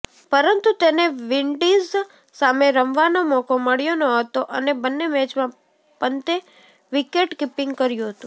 પરંતુ તેને વિન્ડિઝ સામે રમવાનો મોકો મળ્યો નહોતો અને બંને મેચમાં પંતે વિકેટકિપિંગ કર્યું હતું